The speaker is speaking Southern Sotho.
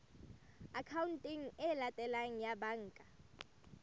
akhaonteng e latelang ya banka